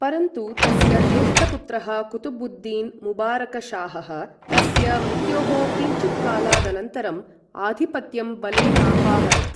परन्तु तस्य ज्येष्ठपुत्रः कुतुबुद्दीेन् मुबारकशाहः तस्य मृत्योः किञ्चित्कालादनन्तरं आधिपत्यं बलेनापाहरत्।